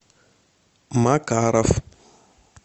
макаров